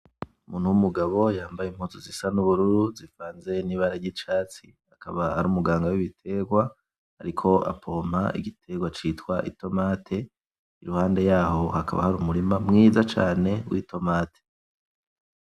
Umuntu w'umugabo yambaye impuzu zisa n'ubururu zivanze n'ibara ry'icatsi akaba ari umuganga w'ibiterwa, ariko apompa igiterwa cyitwa itomate, iruhande yaho hakaba hari umurima mwiza cane w'itomate.